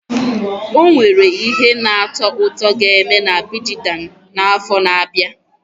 Ọ nwere ihe na-atọ ụtọ ga-eme na Abidjan n'afọ na-abịa?